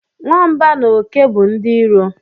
Nwamba na oke bụ ndị iro